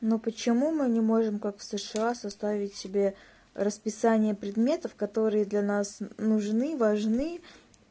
ну почему мы не можем как в сша составить себе расписание предметов которые для нас нужны важны